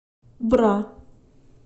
бра